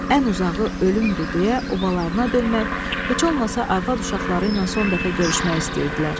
Ən uzağı ölümdür deyə obalarına dönmək, heç olmasa arvad-uşaqları ilə son dəfə görüşmək istəyirdilər.